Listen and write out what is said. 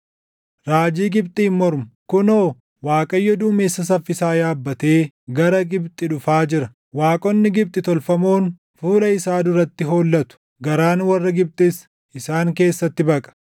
Raajii Gibxiin mormu: kunoo Waaqayyo duumessa saffisaa yaabbatee gara Gibxi dhufaa jira. Waaqonni Gibxi tolfamoon fuula isaa duratti hollatu; garaan warra Gibxis isaan keessatti baqa.